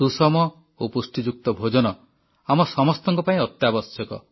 ସୁଷମ ଓ ପୁଷ୍ଟିଯୁକ୍ତ ଭୋଜନ ଆମ ସମସ୍ତଙ୍କ ପାଇଁ ଅତ୍ୟାବଶ୍ୟକ